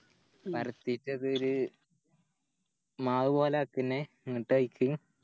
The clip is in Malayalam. പറത്തിട്ടതോര് മാവ് പോലെ എന്നിട്ടയിക്ക്